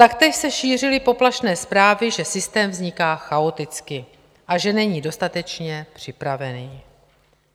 Taktéž se šířily poplašné zprávy, že systém vzniká chaoticky a že není dostatečně připravený.